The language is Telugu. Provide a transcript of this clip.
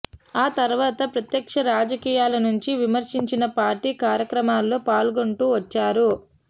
ఆ తరువాత ప్రత్యక్ష రాజకీయాలనుంచి విరమించినా పార్టీ కార్యక్రమాల్లో పాల్గొంటూ వచ్చారు